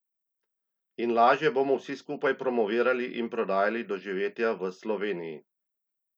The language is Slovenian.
In lažje bomo vsi skupaj promovirali in prodajali doživetja v Sloveniji!